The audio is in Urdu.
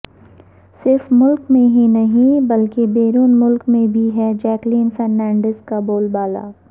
صرف ملک میں ہی نہیں بلکہ بیرون ملک میں بھی ہے جیکلین فرنانڈیزکا بول بالا